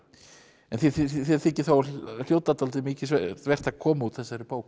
en þér þykir þá dálítið mikilsvert að koma út þessari bók